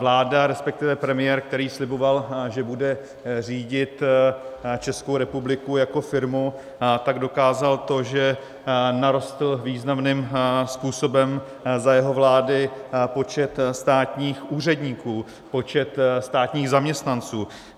Vláda, respektive premiér, který sliboval, že bude řídit Českou republiku jako firmu, tak dokázal to, že narostl významným způsobem za jeho vlády počet státních úředníků, počet státních zaměstnanců.